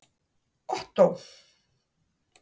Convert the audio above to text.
Ottó